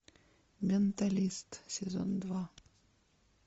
менталист сезон два